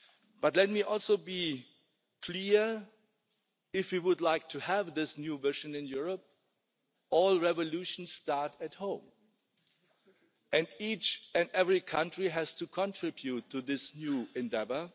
But let me also be clear that if we would like to have this new vision in Europe, all revolutions start at home and each and every country has to contribute to this new endeavour.